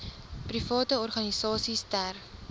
private organisasies ter